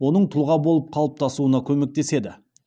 оның тұлға болып қалыптасуына көмектеседі